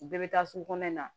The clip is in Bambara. U bɛɛ bɛ taa sugu kɔnɔna na